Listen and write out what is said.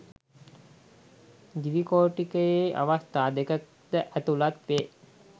ද්විකෝටිකයේ අවස්ථා දෙක ද ඇතුළත් වේ